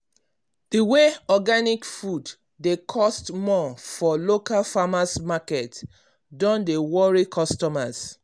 the way organic food dey cost more for local farmers’ market don dey worry customers